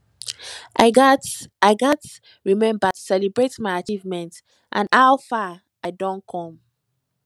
i gats i gats remember to celebrate my achievements and how far i don come